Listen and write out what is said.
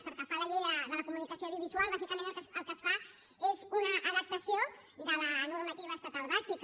pel que fa a la llei de la comunicació audiovisual bàsicament el que es fa és una adaptació de la normativa estatal bàsica